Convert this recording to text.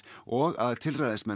og að